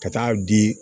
Ka taa di